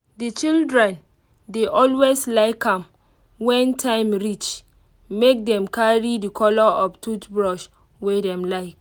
the children dey always like am when time reach make them carry the color of toothbrush wey dem like.